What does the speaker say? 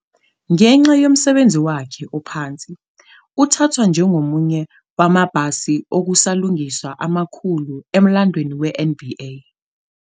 Ngenxa yomsebenzi wakhe ophansi, uthathwa njengomunye wamabhasi okusalungiswa amakhulu emlandweni we-NBA.